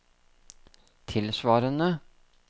tilsvarende